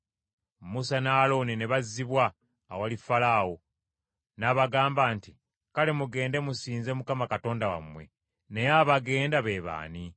Musa ne Alooni ne bazzibwa awali Falaawo. N’abagamba nti, “Kale, mugende musinze Mukama Katonda wammwe. Naye abagenda be baani?”